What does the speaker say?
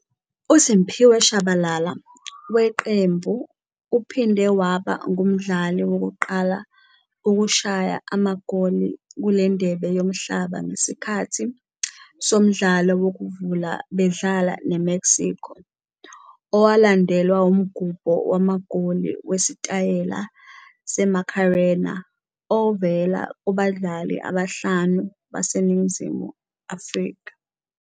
USiphiwe Tshabalala weqembu uphinde waba ngumdlali wokuqala ukushaya amagoli kule Ndebe Yomhlaba ngesikhathi somdlalo wokuvula bedlala neMexico, owalandelwa umgubho wamagoli wesitayela seMacarena ovela kubadlali abahlanu baseNingizimu Afrika.